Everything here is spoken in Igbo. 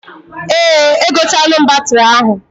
Eeǃ Egotalụ m batịrị ahụ.